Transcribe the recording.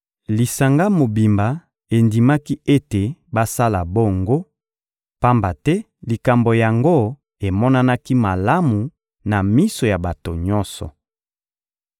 Lisanga mobimba endimaki ete basala bongo, pamba te likambo yango emonanaki malamu na miso ya bato nyonso.